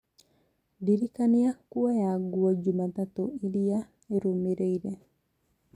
ndĩrikania kuoya nguo jumatatũ ĩrĩa ĩrũmĩrĩire